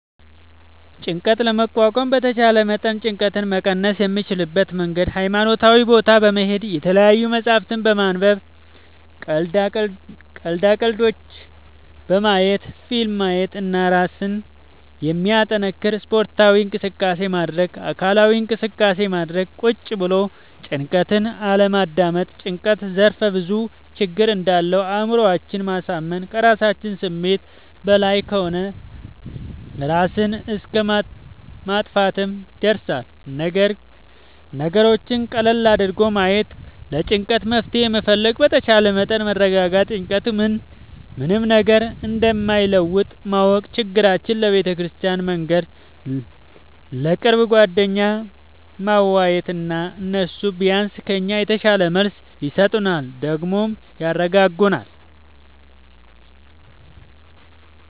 ጭንቀት ለመቋቋም በተቻለ መጠን ጭንቀት መቀነስ የምንችልበት መንገድ ሀይማኖታዊ ቦታ በመሄድ፣ የተለያዪ መፅሀፍት በማንበብ፣ ቀልዳ ቀልዶች በማየት፣ ፊልም ማየት እና እራስን የሚያጠነክር ስፓርታዊ እንቅስቃሴ ማድረግ። አካላዊ እንቅስቃሴ ማድረግ ቁጭ ብሎ ጭንቀትን አለማዳመጥ። ጭንቀት ዘርፍ ብዙ ችግር እንዳለው አእምሮአችን ማሳመን ከራሳችን ስሜት በላይ ከሆነ እራስን እስከ ማጥፍትም ይደርሳል። ነገሮችን ቀለል አድርጎ ማየት ለጭንቀቱ መፍትሄ መፈለግ በተቻለ መጠን መረጋጋት ጭንቀት ምንም ነገር እንደማይለውጥ ማወቅ ችግራችን ለቤተክርስቲያን መንገር፣ ለቅርብ ጓደኛ ማዋየት እና እነሱ ቢያንስ ከኛ የተሻለ መልስ ይሰጡናል ደግሞም ያረጋጉናል።